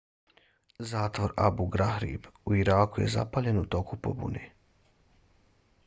zatvor abu ghraib u iraku je zapaljen u toku pobune